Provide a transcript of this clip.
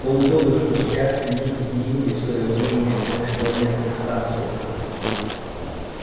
полгода спустя они изменили своё мнение о межпланетных станциях